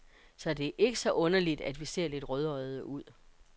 Så det er ikke så underligt, vi ser lidt rødøjede ud.